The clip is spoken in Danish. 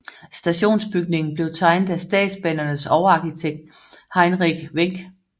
Stationsbygningen blev tegnet af Statsbanernes overarkitekt Heinrich Wenck